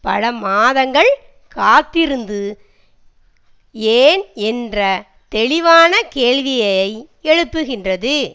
பல மாதங்கள் காத்திருந்து ஏன் என்ற தெளிவான கேள்வியை எழுப்புகின்றது